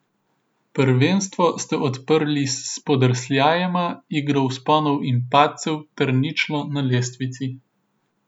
Prvenstvo ste odprli s spodrsljajema, igro vzponov in padcev ter ničlo na lestvici.